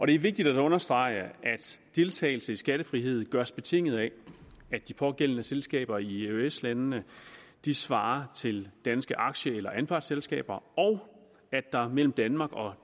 det er vigtigt at understrege at deltagelse i skattefrihed gøres betinget af at de pågældende selskaber i eøs landene svarer til danske aktie eller anpartsselskaber og at der mellem danmark og